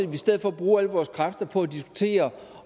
vi i stedet for bruge alle vores kræfter på at diskutere